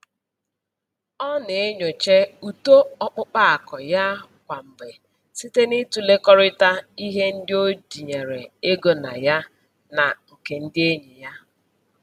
Ọ na-enyocha uto ọkpụkpa akụ ya kwa mgbe site n'ịtụlekọrịta ihe ndị o tinyere ego na ya na nke ndị enyi ya.